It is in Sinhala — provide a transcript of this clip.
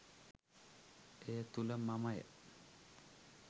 එය තුළ මමය,